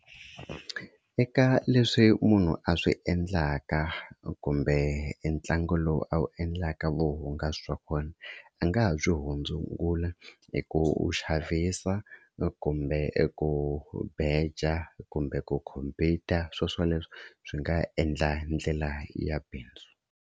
Eka leswi munhu a swi endlaka kumbe ntlangu lowu a wu endlaka, vuhungasi bya kona a nga ha byi hundzula hi ku xavisa kumbe ku beja kumbe ku khompita sweswo leswo swi nga endla hi ndlela ya bindzu.